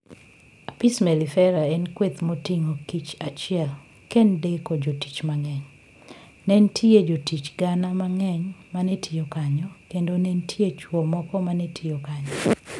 Apis mellifera en kweth moting'o kich achiel kendeko jotich mangeny., Ne nitie jotich gana mang'eny ma ne tiyo kanyo, kendo ne nitie chwo moko ma ne tiyo kanyo.